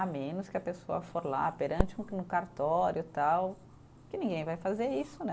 A menos que a pessoa for lá, perante um um cartório e tal, que ninguém vai fazer isso, né?